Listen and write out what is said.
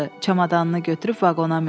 Çamadanını götürüb vaqona mindi.